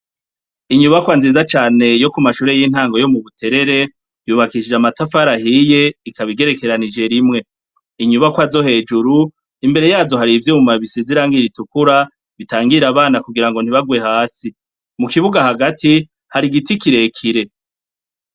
Inyubakwa nziza cane yo kumashure y'intango yo mubuterere yubakishijwe amatafari ahiye ikaba igerekeranije rimwe. Inyubakwa zohejuru imbere yazo har'ivyuma bisize irangi ritukura bitangire abana kugirango ntibakoroke. Mukibuga hagati har'igiti kirekire.